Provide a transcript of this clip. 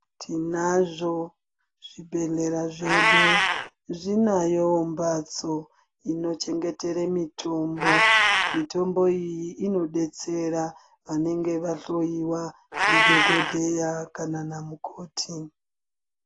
Tinazvo zvibhedhlera zvedu. Zvinayo mbatso inochengetere mitombo. Mitombo iyi inodetsera vanenge vahloyiwa ndidhokodheya kana namukoti.